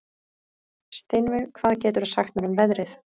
Sveinveig, hvað geturðu sagt mér um veðrið?